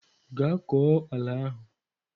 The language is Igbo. Gaa kọọ ala ahụ!